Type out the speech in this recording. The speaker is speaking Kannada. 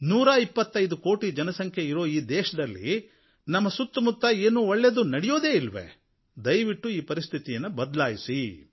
ನೂರಾ ಇಪ್ಪತ್ತೈದು ಕೋಟಿ ಜನಸಂಖ್ಯೆ ಇರುವ ನಮ್ಮ ದೇಶದಲ್ಲಿ ನಮ್ಮ ಸುತ್ತಮುತ್ತ ಏನೂ ಒಳ್ಳೆಯದು ನಡೆಯುವುದಿಲ್ಲವೇ ದಯವಿಟ್ಟು ಈ ಪರಿಸ್ಥಿತಿಯನ್ನು ಬದಲಾಯಿಸಿ